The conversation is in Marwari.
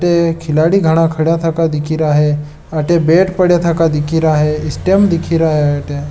अटे खिलाड़ी घणा खड़ा था दिखरा है अटे गिरा बैट पड़ा था दिखी रहा है स्टम्प पड़ा दिख रहा है।